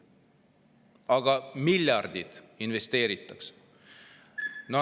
Aga miljardid investeeritakse!